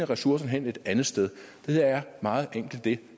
ressourcerne hen et andet sted det er meget enkelt det